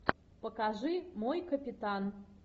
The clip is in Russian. покажи мой капитан